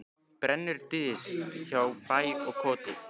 Brennur dys hjá bæ og koti.